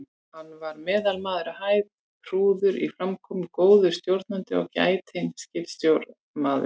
Hann var meðalmaður á hæð, prúður í framkomu, góður stjórnandi og gætinn skipstjórnarmaður.